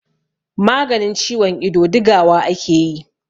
maganin ciwon ido digawa ake yi